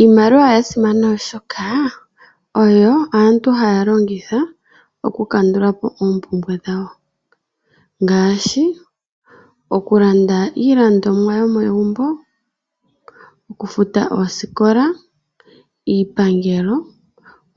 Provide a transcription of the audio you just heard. Iimaliwa oyasimana oshoka oyo aantu haya longitha okukandulapo oompumbwe dhawo ngaashi okulanda iilandomwa yomegumbo, okufuta oosikola, iipangelo